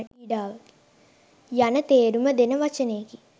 යන තේරුම දෙන වචනයකි.